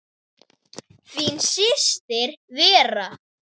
Þín systir Vera.